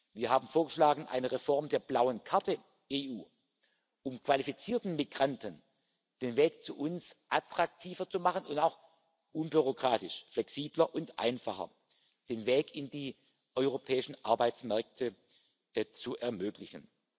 Wir haben vorgeschlagen, eine Reform der blauen Karte EU, um qualifizierten Migranten den Weg zu uns attraktiver zu machen und auch unbürokratisch, flexibler und einfacher den Weg in die europäischen Arbeitsmärkte zu ermöglichen.